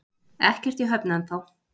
Ekkert í höfn ennþá